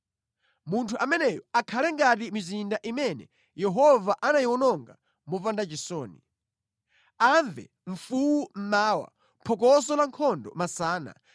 Munthu ameneyo akhale ngati mizinda imene Yehova anayiwononga mopanda chisoni. Amve mfuwu mmawa, phokoso la nkhondo masana.